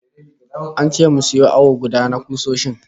An ce mu sayo awo guda na kusoshin